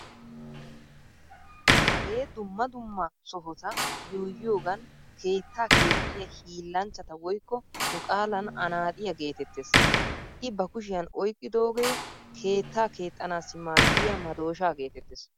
Hagee dumma dumma sohota yuuyyiyoogan keettaa keexxiya hiillanchchaa woykko nu qaalan anaaxiya geetettees. I ba kushiyan oyqqidooge keettaa keexxanaassi maaddiya madooshaa geetettees.